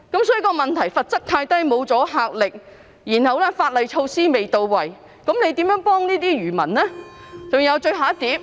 所以，問題是罰則太輕，沒有阻嚇力，法例措施未到位，這樣如何幫助漁民呢？